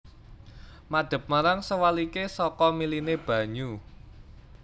Madep marang sewaliké saka miliné banyu